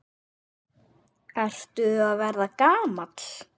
Ertu að verða gamall?